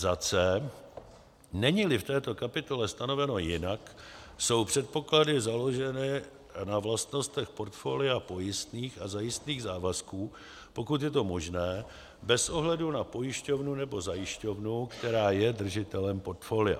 c) není-li v této kapitole stanoveno jinak, jsou předpoklady založeny na vlastnostech portfolia pojistných a zajistných závazků, pokud je to možné, bez ohledu na pojišťovnu nebo zajišťovnu, která je držitelem portfolia;